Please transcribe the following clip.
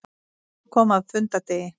Svo kom að fundardegi.